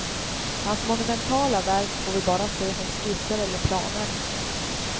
Hans monumentala verk får vi bara se som skisser eller planer.